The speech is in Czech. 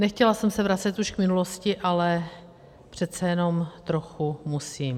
Nechtěla jsem se vracet už k minulosti, ale přece jenom trochu musím.